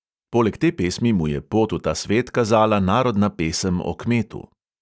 Poleg te pesmi mu je pot v ta svet kazala narodna pesem o kmetu ...